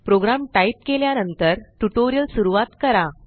programme type केल्या नंतर tutorial सुरवात करा